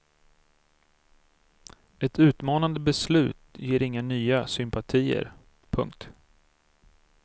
Ett utmanande beslut ger inga nya sympatier. punkt